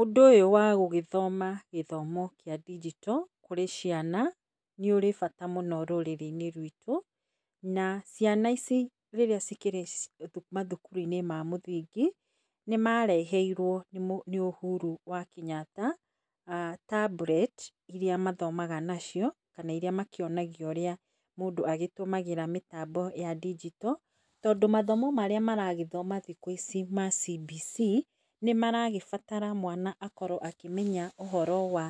Ũndũ ũyũ wagũgĩthoma gĩthomo kĩa ndinjito, kũrĩ ciana, nĩ ũrĩ bata mũno rũrĩrĩ-inĩ rwitũ, na ciana ici rĩrĩa cikĩrĩ mathukuru-inĩ ma mũthingi, nĩ mareheirwo nĩ Ũhuru wa Kenyatta tablet irĩa mathomaga nacio kana irĩa makĩonagio ũrĩa mũndũ agĩtũmagĩra mĩtambo ya ndinjito. Tondũ mathomo marĩa maragĩthoma thikũ ici ma CBC, nĩ maragĩbatara mwana akorwo akĩmenya ũhoro wa